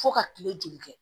Fo ka kile joli kɛ